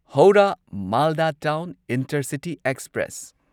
Howrah Malda town intercity express